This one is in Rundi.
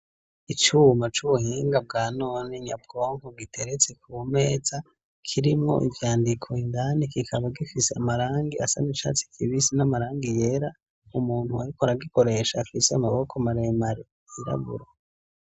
Icuma c'ubuhinga bwa none nyabwonko giteretse ku meza, kirimwo ivyandiko indani, kikaba gifise amarangi asa n'icatsi kibisi, n'amarangi yera, umuntu ariko aragikoresha afise amaboko maremare yirabura.